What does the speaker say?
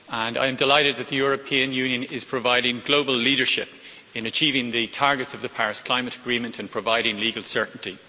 I'm delighted that the European Union is providing global leadership in achieving the targets of the Paris Agreement and providing legal certainty.